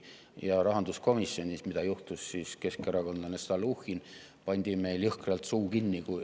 Ja rahanduskomisjonis, mida juhtis siis keskerakondlane Stalnuhhin, pandi meil jõhkralt suu kinni.